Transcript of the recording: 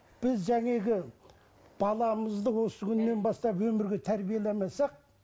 біз баламызды осы күннен бастап өмірге тәрбиелемесек